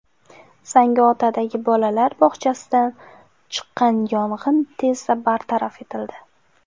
Zangiotadagi bolalar bog‘chasida chiqqan yong‘in tezda bartaraf etildi.